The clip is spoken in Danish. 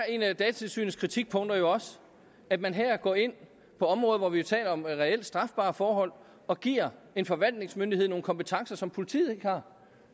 et af datatilsynets kritikpunkter jo er at man her går ind på områder hvor der er tale om reelt strafbare forhold og giver en forvaltningsmyndighed og nogle kompetencer som politiet ikke har